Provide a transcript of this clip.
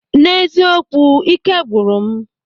N'eziokwu, ị́ké gwụrụ m.